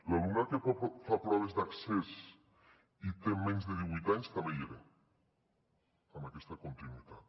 l’alumnat que fa proves d’accés i té menys de divuit anys també hi era amb aquesta continuïtat